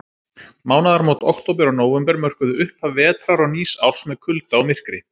Mánaðarmót október og nóvember mörkuðu upphaf vetrar og nýs árs með kulda og myrkri.